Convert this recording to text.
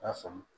I y'a faamu